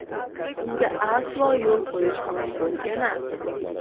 Bunga aslo yo‘l qo‘yish mumkin emas!